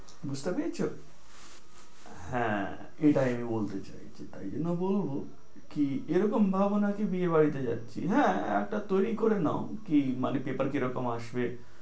বুঝতে পেরেছো? হ্যাঁ এটাই আমি বলতে চাই ছি। তাই জন্য বলবো, কি এরকম ভাবো না যে বিয়ে বাড়িতে যাচ্ছি। হ্যাঁ একটা তৈরী করে নাও কি মানে paper কি রকম আসবে